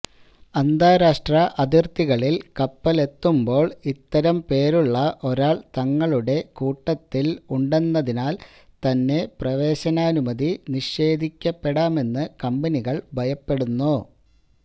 അന്താരാഷ്ട്ര അതിര്ത്തികളില് കപ്പലുകളെത്തുമ്പോള് ഇത്തരം പേരുള്ള ഒരാള് തങ്ങളുടെ കൂട്ടത്തില് ഉണ്ടെന്നതിനാല് തന്നെ പ്രവേശനാനുമതി നിഷേധിക്കപ്പെടാമെന്ന് കമ്പനികള് ഭയപ്പെടുന്നു